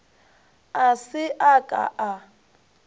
a se a ka a